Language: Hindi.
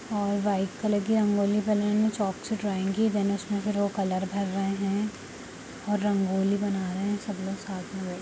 और व्हाइट कलर की रंगोली बनाी हुई है उसमें चॉक से ड्रॉइंग उसमें वो कलर भर रहे हैं और रंगोली बना रहे हैं सब लोग साथ में बैठ --